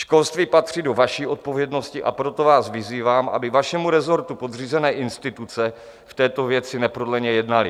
Školství patří do vaší odpovědnosti, a proto vás vyzývám, aby vašemu resortu podřízené instituce v této věci neprodleně jednaly.